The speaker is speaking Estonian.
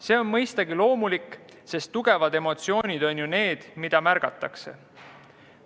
See on mõistagi loomulik, sest tugevad emotsioonid on ju need, mida märgatakse.